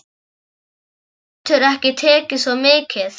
Hann getur ekki tekið svo mikið.